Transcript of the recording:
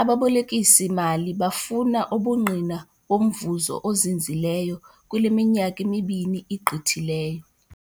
ababolekisi mali bafuna ubungqina bomvuzo ozinzileyo kule minyaka imibini igqithileyo.